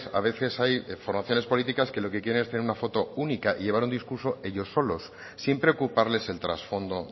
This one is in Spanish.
a veces hay formaciones políticas que lo que quieren es tener una foto única y llevar un discurso ellos solos sin preocuparles el trasfondo